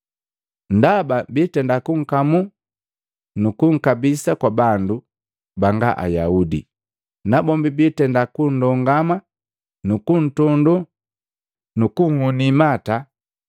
Ndaba bitenda kunkamu nukunkabisa kwa bandu banga Ayaudi. Nabombi biitenda kundongama, nukuntondo, nukunhuni imata,